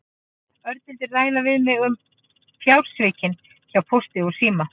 Örn vildi ræða við mig um fjársvikin hjá Pósti og síma.